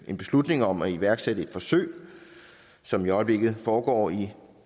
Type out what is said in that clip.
en beslutning om at iværksætte et forsøg som i øjeblikket foregår i